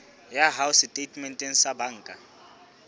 ya hao setatementeng sa banka